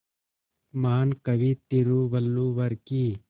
महान कवि तिरुवल्लुवर की